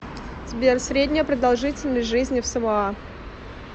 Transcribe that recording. сбер средняя продолжительность жизни в самоа